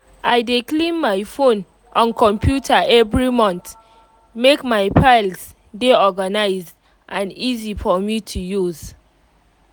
i dey clean my phone and computer every month make my files dey organised and easy for me to use